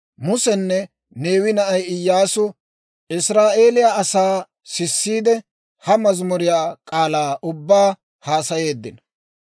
Musenne Neewe na'ay Iyyaasu Israa'eeliyaa asaa sissiide, ha mazimuriyaa k'aalaa ubbaa haasayeeddino.